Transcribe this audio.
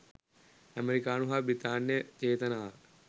ඇමෙරිකානු හා බ්‍රිතාන්‍ය චේතනාව